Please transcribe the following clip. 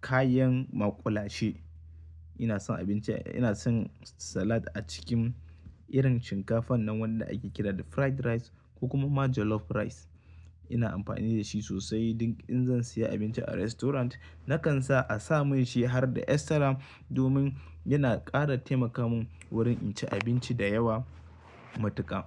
kayan maƙulashe. Ina son abinci, ina son salad a cikin irin shinkafan nan wanda ake kira da fried rice ko kuma ma jollof rice. Ina amfani da shi sosai duk in zan siya abinci a restaurant nakan sa a sa mun shi har da extra domin yana ƙara taimaka mun wurin in ci abinci da yawa matuƙa.